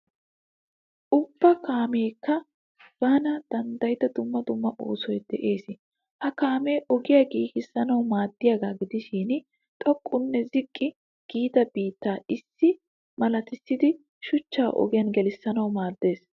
Ubba kaameekka ban danddiyida dumma dumma oosoy de'es. Ha kaamee ogiya giigissanawu maaddiyaagaa gidishin xoqqunne ziqqi giida biittaa issi malissidi shuchchaa ogiyaa giigissanawu maaddes